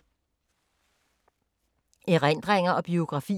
Erindringer og biografier